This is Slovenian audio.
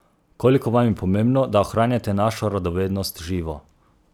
Koliko je vam pomembno, da ohranjate našo radovednost živo?